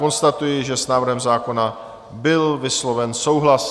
Konstatuji, že s návrhem zákona byl vysloven souhlas.